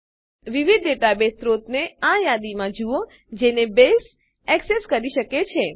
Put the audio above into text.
વિવિધ ડેટાબેઝ સ્ત્રોતોને આ યાદીમાં જુઓ જેને બેઝ એક્સેસ કરી શકે છે